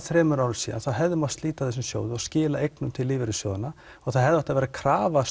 þremur árum síðan hefði mátt slíta þessum sjóði og skila eignum til lífeyrissjóðanna og það hefði átt að vera krafa